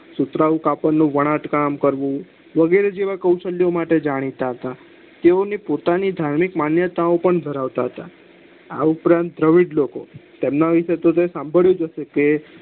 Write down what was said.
સુતરાઉ કાપડ નું વણાટ કામ કરવું વગેરે જેવા કોશાલ્યો માટે જાણીતા હતા તેવો પોતાની ધાર્મિક માન્યતા પણ ધરાવતા હતા આ ઉપરાંત દવીડ લોકો તેમના વિશે તમે સાભળ્યું હશે કે